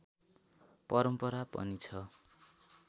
परम्परा पनि छ